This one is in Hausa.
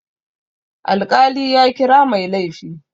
Alƙali ya kira mai laifi.